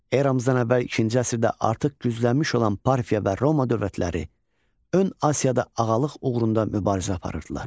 Eramızdan əvvəl ikinci əsrdə artıq güclənmiş olan Parfiya və Roma dövlətləri Ön Asiyada ağalıq uğrunda mübarizə aparırdılar.